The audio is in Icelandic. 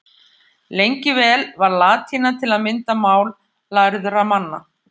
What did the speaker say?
Lengi vel var latína til að mynda mál lærðra manna.